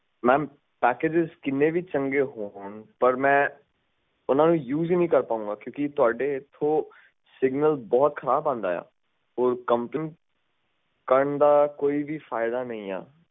mampackages ਕਿੰਨੇ ਵਿ ਚੰਗੇ ਕਿੰਨੇ ਵਿ ਚੰਗੇ ਪਰ ਮੈਂ ਉਨਾਨੁ use ਨਹੀਂ ਕਰ ਸਕਦਾ ਕਿਉਂਕਿ ਤੁਹਾਡਾ ਇੱਥੇ signal ਬਹੁਤ ਖਰਾਬ ਹੈ ਅਤੇ continue ਰੱਖਣ ਦਾ ਕੋਈ ਫਾਇਦਾ ਨਹੀਂ ਹੈ